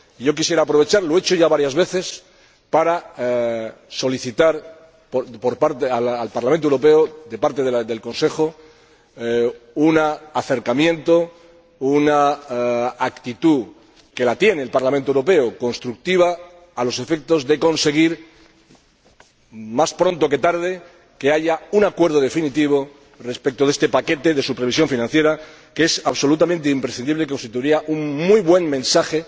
Quisiera aprovechar lo he hecho ya varias veces para solicitar al Parlamento Europeo de parte del Consejo un acercamiento, una actitud que la tiene el Parlamento Europeo constructiva, a los efectos de conseguir más pronto que tarde que haya un acuerdo definitivo respecto de este paquete de supervisión financiera, que es absolutamente imprescindible y que constituiría un muy buen mensaje